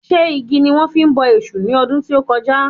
Ṣé igi ni wọ́n fi bọ èṣù ní ọdún tí o kọjá?